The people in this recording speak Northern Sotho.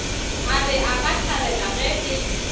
a re akathabela ge e